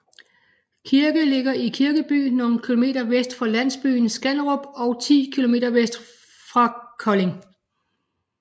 Kirke ligger i Kirkeby nogle kilometer vest for landsbyen Skanderup og 10km vest for Kolding